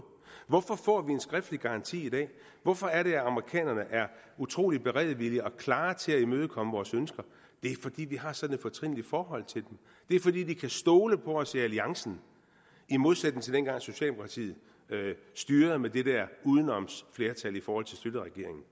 hvorfor får vi en skriftlig garanti i dag hvorfor er det at amerikanerne er utrolig beredvillige og klar til at imødekomme vores ønsker det er fordi vi har sådan et fortrinligt forhold til dem det er fordi de kan stole på os i alliancen i modsætning til dengang socialdemokratiet styrede med det der udenomsflertal i forhold til schlüterregeringen